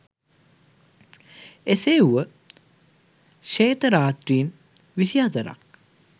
එසේ වුව ශ්වේත රාත්‍රීන් විසිහතරක්